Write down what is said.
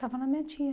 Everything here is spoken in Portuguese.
Estava na minha tia.